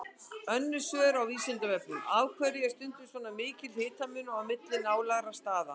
Önnur svör á Vísindavefnum: Af hverju er stundum svona mikill hitamunur á milli nálægra staða?